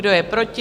Kdo je proti?